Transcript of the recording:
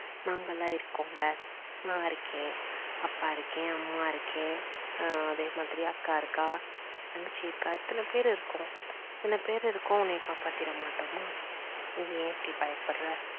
நாங்களா இருக்கோம்ல நான் இருக்கேன், அப்பா இருக்கேன், அம்மா இருக்கேன், அதே மாதிரி அக்கா இருக்கா, தங்கச்சி இருக்கா இத்தனை பேர் இருக்கோம் இத்தனை பேர் இருக்கோம் உன்ன காப்பாத்திட மாட்டோமா? நீ ஏன் இப்படி பயப்படுற?